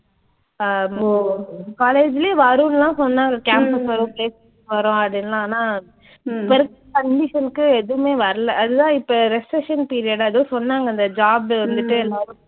அஹ் இப்போ college லயே வரும்னுலாம் சொன்னாங்க campus வரும் placement வரும் அதெல்லாம் ஆனா இப்ப இருக்க condition க்கு எதுவுமே வரல. அதான் இப்ப recession period ஏதோ சொன்னாங்க அந்த job வந்துட்டு எல்லாரும்